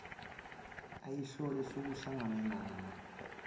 ayeyihola sekuhlangne nama